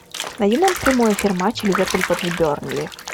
найди нам прямой эфир матча ливерпуль против бернли